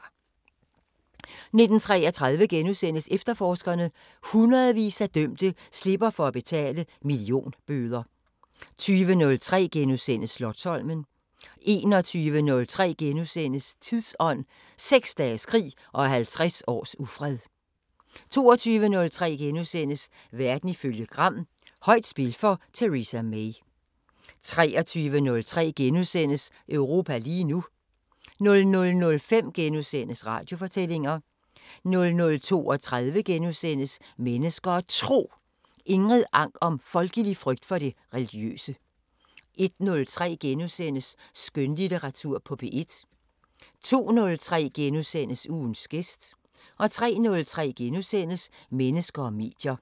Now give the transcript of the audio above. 19:33: Efterforskerne: Hundredvis af dømte slipper for at betale millionbøder * 20:03: Slotsholmen * 21:03: Tidsånd: 6 dages krig og 50 års ufred * 22:03: Verden ifølge Gram: Højt spil for Theresa May * 23:03: Europa lige nu * 00:05: Radiofortællinger * 00:32: Mennesker og Tro: Ingrid Ank om folkelig frygt for det religiøse * 01:03: Skønlitteratur på P1 * 02:03: Ugens gæst * 03:03: Mennesker og medier *